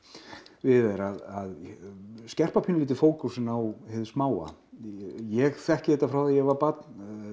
við er að skerpa pínulítið fókusinn á hið smáa ég þekki þetta frá því ég var barn